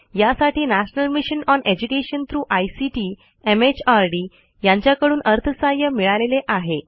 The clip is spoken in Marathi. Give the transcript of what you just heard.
यासाठी national mission on education through ICT MHRD यांच्याकडून अर्थसहाय्य मिळालेले आहे